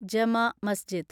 Juma Masjid